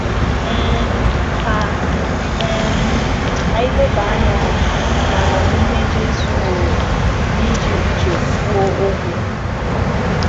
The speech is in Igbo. um Ka um anyị leba anya n’amamihe Jésù nwere n’iji uche kwuo okwu.